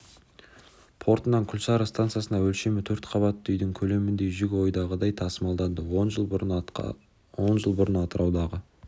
портынан құлсары стансасына өлшемі төрт қабатты үйдің көлеміндей жүк ойдағыдай тасымалданды он жыл бұрын атыраудағы